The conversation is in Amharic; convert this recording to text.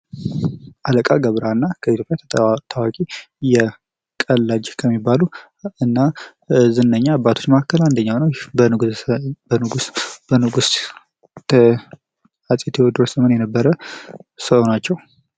አለቃ ገብረሃና በኢትዮጵያ ታዋቂ ቀላጅ ከሚባሉ እና ዝነኛ አባቶች መካከል አንደኛው ነው። በንጉሥ አፄ ቴዎድሮስ ዘመን የነበረ ሰው ናቸው።